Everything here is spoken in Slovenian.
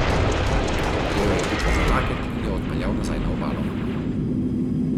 Prijel je Piko za laket in jo odpeljal nazaj na obalo.